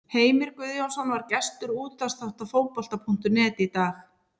Heimir Guðjónsson var gestur útvarpsþáttar Fótbolta.net í dag.